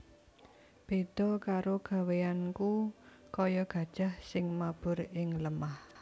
Béda karo gawéyanku kaya gajah sing mabur ing lemah